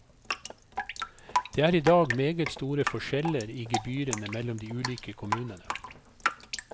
Det er i dag meget store forskjeller i gebyrene mellom de ulike kommunene.